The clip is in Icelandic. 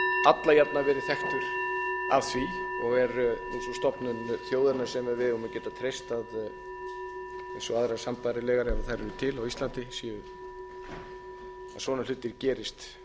alla jafna verið þekktur að því og er stofnun þjóðarinnar sem við eigum að geta treyst eins og aðrar sambærilegar ef þær eru til á íslandi að svona hlutir gerist